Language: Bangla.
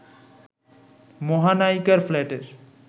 মহানায়িকার ফ্ল্যাটের